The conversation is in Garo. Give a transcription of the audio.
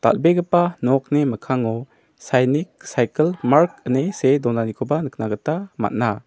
dal·begipa nokni mikkango sainik saikil mart ine see donanikoba nikna gita man·a.